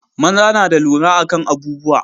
maza na da lura akan abubuwa